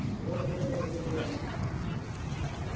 вот это его была